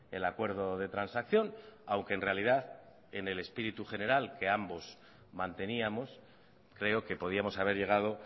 el acuerdo de transacción aunque en realidad en el espíritu general que ambos manteníamos creo que podíamos haber llegado